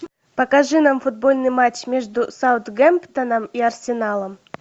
покажи нам футбольный матч между саутгемптоном и арсеналом